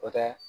O tɛ